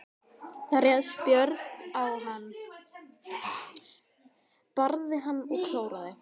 Þá réðst Björg á hann, barði hann og klóraði.